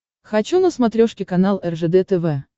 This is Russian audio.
хочу на смотрешке канал ржд тв